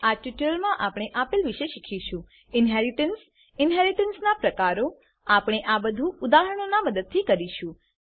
આ ટ્યુટોરીયલમાં આપણે આપેલ વિશે શીખીશું ઇન્હેરિટન્સ ઇનહેરીટન્સ ઇનહેરીટન્સનાં પ્રકારો આપણે આ બધું ઉદાહરણોનાં મદદથી કરીશું